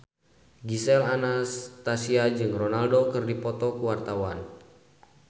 Gisel Anastasia jeung Ronaldo keur dipoto ku wartawan